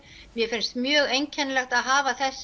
mér finnst mjög einkennilegt að hafa þessa